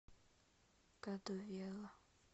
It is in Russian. кадувела